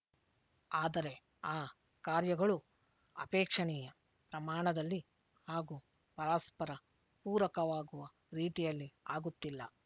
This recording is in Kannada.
ಆದರೆ ಆ ಕಾರ್ಯಗಳು ಅಪೇಕ್ಷಣೀಯ ಪ್ರಮಾಣದಲ್ಲಿ ಹಾಗೂ ಪರಸ್ಪರ ಪೂರಕವಾಗುವ ರೀತಿಯಲ್ಲಿ ಆಗುತ್ತಿಲ್ಲ